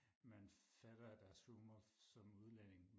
man fatter af deres humor som udelænding